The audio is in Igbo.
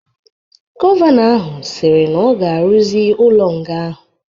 Gọvanọ ahu sịrị na ọ ga-aruzi ulo nga ahụ